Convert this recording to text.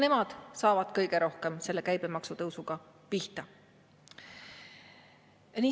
Nemad saavad kõige rohkem selle käibemaksu tõusuga pihta.